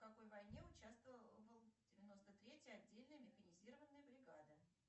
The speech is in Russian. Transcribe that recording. в какой войне участвовал девяносто третья отдельная механизированная бригада